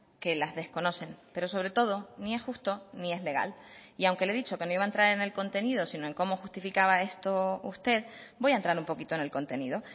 que las desconocen pero sobre todo ni es justo ni es legal y aunque le he dicho que no iba a entrar en el contenido sino en cómo justificaba esto usted voy a entrar un poquito en el contenido